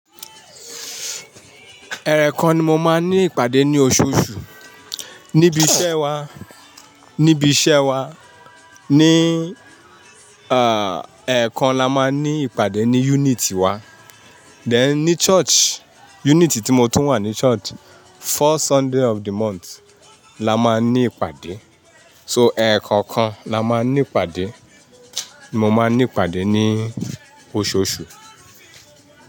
Ẹ̀ẹ̀kan ni mo máa ń ní ìpàdé ní oṣooṣù. Ni ibi iṣẹ́ wa, ní ibi iṣẹ́ wa, ní ah ẹ̀ẹ̀kan la máa ń ní ìpàdé ní unit wá. Then ní church, unity tí mo tún wà ní church, fourth Sunday of the month la máa ní ìpàdé. So ẹ̀ẹ̀ kọ̀ọ̀kan la máa ń ní ìpàdé. Mo máa ń ní ìpàdé ní oṣooṣù.